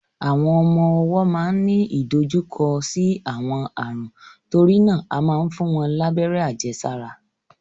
Àwọn ọmọ ọwọ́ máa ń ní ìdojúkọ sí àwọn ààrùn, torí náà a máa ń fún wọn lábẹ́rẹ́ àjẹsára.